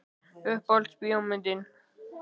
Uppáhalds bíómyndin?